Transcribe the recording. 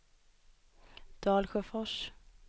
Dalsjöfors